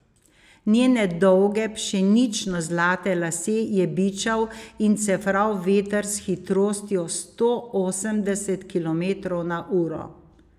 Njene dolge pšenično zlate lase je bičal in cefral veter s hitrostjo sto osemdeset kilometrov na uro.